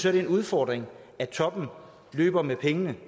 er en udfordring at toppen løber med pengene